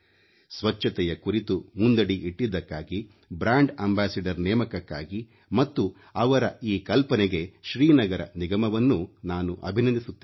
ಸ್ವಚ್ಛತೆಯ ಕುರಿತು ಮುಂದಡಿ ಇಟ್ಟಿದ್ದಕ್ಕಾಗಿ ಬ್ರಾಂಡ್ ಅಂಬಾಸಿಡರ್ ನೇಮಕಕ್ಕಾಗಿ ಮತ್ತು ಅವರ ಈ ಕಲ್ಪನೆಗೆ ಶ್ರೀನಗರ ನಿಗಮವನ್ನೂ ನಾನು ಅಭಿನಂದಿಸುತ್ತೇನೆ